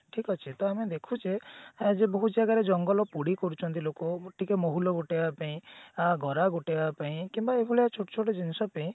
ଠିକ ଅଛି ତ ଆମେ ଦେଖୁଛେ ଆଗେ ବହୁତ ଜାଗାରେ ଜଙ୍ଗଲ ପୋଡି କରୁଛନ୍ତି ଲୋକ ଟିକେ ମହୁଲ ଗୋଟେଇବା ପାଇଁ ଅ ଗରା ଗୋଟେଇବା ପେଇଁ କିମ୍ବା ଏଇଭଳିଆ ଛୋଟ ଛୋଟ ଜିନିଷ ପେଇଁ